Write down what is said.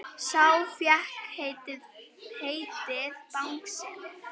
Sá fékk heitið Bangsi.